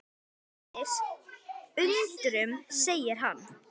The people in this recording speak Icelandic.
Það sætir undrum segir hann.